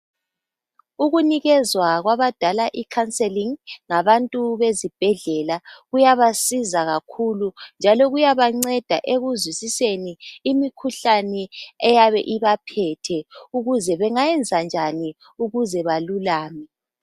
Ukunikezwa kwabadala ikhanselingi ngabantu bezibhedlela kuyabasiza kakhulu njalo kuyabanceda ekuzwisiseni imikhuhlane eyabe ibaphethe ukuze bengayenza njani ukuze balulame.